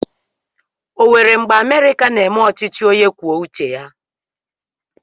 O nwere mgbe Amerịka na-eme ọchịchị onye kwuo uche ya?